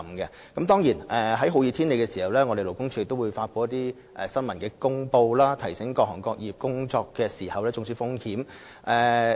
在天氣酷熱的情況下，勞工處會發出新聞公報，提醒各行各業人員注意工作時的中暑風險。